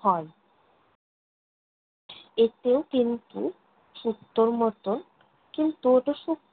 হয়। এতেও কিন্তু শুক্তোর মতন, কিন্তু ওতো শুক্তো